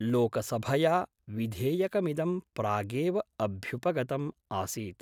लोकसभया विधेयकमिदं प्रागेव अभ्युपगतम् आसीत्।